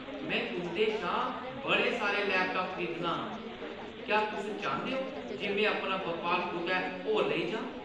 मैं तुंʼदे शा बड़े सारे लैपटाप खरीदनां। क्या तुस चांह्‌दे ओ जे मैं अपना बपार कुतै होर लेई जां?